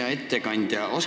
Hea ettekandja!